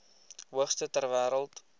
hoogste ter wêreld